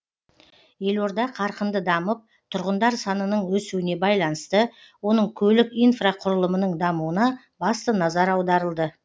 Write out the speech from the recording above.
елорда қарқынды дамып тұрғындар санының өсуіне байланысты оның көлік инфрақұрылымының дамуына басты назар аударылды